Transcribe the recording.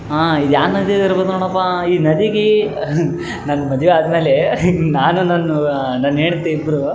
ಬೆಟ್ಟವು ನೋಡಲು ಬರುತ್ತಿದೆ ಇಲ್ಲಿ ಎರಡು ಮರಗಳು ಕಾಣಿಸಲು ಬರುತ್ತಿದೆ ಇಲ್ಲಿ ಇಬ್ಬರು --